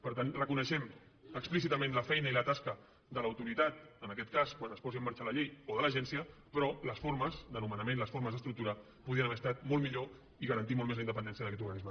per tant reconeixem explícitament la feina i la tasca de l’autoritat en aquest cas quan es posi en marxa la llei o de l’agència però les formes de nomenament les formes d’estructura podien haver estat molt millor i garantir molt més la independència d’aquest organisme